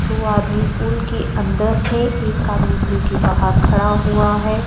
दो आदमी पुल के अंदर है एक आदमी पुल के बाहर खड़ा हुआ है।